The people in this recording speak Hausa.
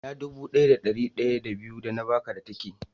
Ina dubu daya da dari daya da biyu da na Baka ka tike?